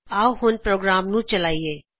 ਆਓ ਹੁਣ ਪ੍ਰੋਗਰਾਮ ਨੂੰ ਚਲਾਇਏ